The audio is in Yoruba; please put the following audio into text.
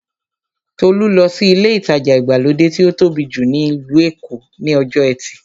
Tolú lọ sí ilé ìtajà ìgbàlódé tí ó tóbi jù ní ìlú Èkó ní ọjọ́ ẹtì